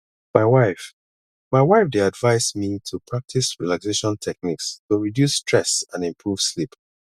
my wife my wife dey advise me to practice relaxation techniques to reduce stress and improve sleep